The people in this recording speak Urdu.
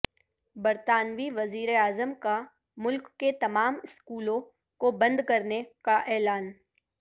برطانو ی وزیر اعظم کا ملک کے تمام اسکولوں کو بند کرنے کا اعلان